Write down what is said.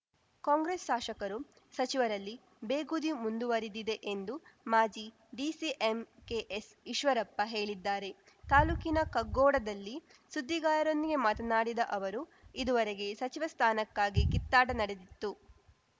ಕಾಂಗ್ರೆಸ್‌ ಶಾಸಕರು ಸಚಿವರಲ್ಲಿ ಬೇಗುದಿ ಮುಂದುವರಿದಿದೆ ಎಂದು ಮಾಜಿ ಡಿಸಿಎಂ ಕೆಎಸ್‌ ಈಶ್ವರಪ್ಪ ಹೇಳಿದ್ದಾರೆ ತಾಲೂಕಿನ ಕಗ್ಗೋಡದಲ್ಲಿ ಸುದ್ದಿಗಾರರೊಂದಿಗೆ ಮಾತನಾಡಿದ ಅವರು ಇದುವರೆಗೆ ಸಚಿವ ಸ್ಥಾನಕ್ಕಾಗಿ ಕಿತ್ತಾಟ ನಡೆದಿತ್ತು